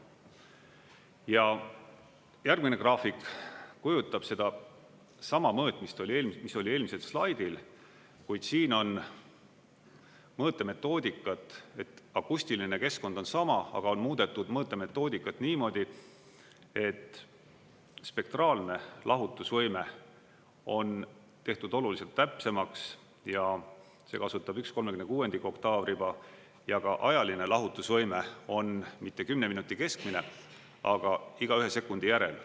Ja järgmine graafik kujutab seda sama mõõtmist, mis oli eelmisel slaidil, kuid siin on mõõtemetoodikat, et akustiline keskkond on sama, aga on muudetud mõõtemetoodikat niimoodi, et spektraalne lahutusvõime on tehtud oluliselt täpsemaks ja see kasutab 1/36 oktaavriba, ja ka ajaline lahutusvõime on mitte 10 minuti keskmine, aga iga 1 sekundi järel.